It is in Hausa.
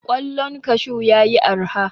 Ƙwallon kashu ya yi araha.